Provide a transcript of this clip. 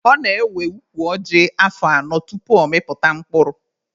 Ọ na-ewe ukwu ọjị afọ anọ tupu ọ mịpụta mkpụrụ.